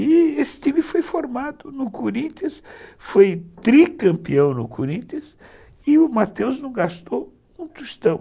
E esse time foi formado no Corinthians, foi tricampeão no Corinthians, e o Matheus não gastou um tostão.